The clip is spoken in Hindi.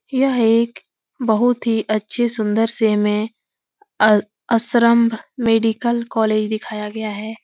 यह एक बहुत ही अच्छे सुन्दर से में आ अस्र्म्ब मेडिकल कॉलेज दिखाया गया है।